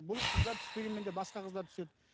бұл қыздар түспегенмен де басқа қыздар түседі